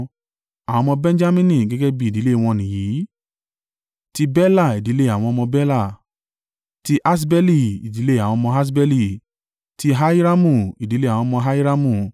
Àwọn ọmọ Benjamini gẹ́gẹ́ bí ìdílé wọn nìyìí: tí Bela, ìdílé àwọn ọmọ Bela; ti Aṣbeli, ìdílé àwọn ọmọ Aṣbeli; ti Ahiramu, ìdílé àwọn ọmọ Ahiramu;